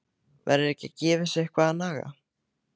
Verður ekki að gefa þessu eitthvað að naga?